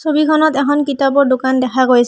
ছবিখনত এখন কিতাপৰ দোকান দেখা গৈছ--